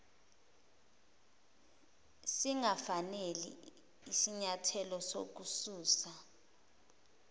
singafanele isinyathelo sokususa